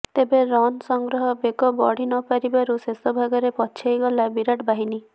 ତେବେ ରନ୍ ସଂଗ୍ରହ ବେଗ ବଢ଼ି ନପାରିବାରୁ ଶେଷ ଭାଗରେ ପଛେଇ ଗଲା ବିରାଟ ବାହିନୀ